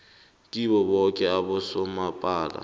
kibo boke abomasipala